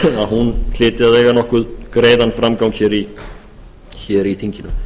að eiga nokkuð greiðan framgang í þinginu